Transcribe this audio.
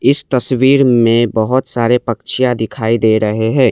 इस तस्वीर में बहोत सारे पश्चियाँ दिखाई दे रहे हैं।